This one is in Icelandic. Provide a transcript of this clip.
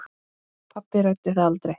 Pabbi ræddi það aldrei.